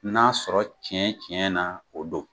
N'a sɔrɔ tiɲɛ tiɲɛ na o don.